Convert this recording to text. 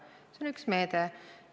See on üks meede.